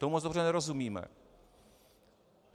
Tomu moc dobře nerozumíme.